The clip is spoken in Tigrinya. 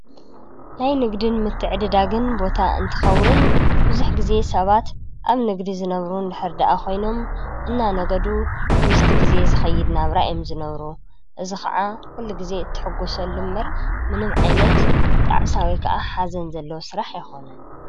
ናይ ንግድን ምትዕድዳግን ቦታ እንትኸውን ብዙሕ ግዜ ሰባት ኣብ ንግዲ ዝነብሩ እንድሕር ድኣ ኮይኖም እናነገዱ ምስቲ ግዜ ዝከይድ ናብራ እዮም ዝነብሩ። እዚ ክዓ ኩሉ ግዜ እትሕጎሰሉ እምበር ንምዓይነት ጣዕሳ ወይ ከዓ ሓዘን ዘለዎ ስራሕ ኣይኮነን።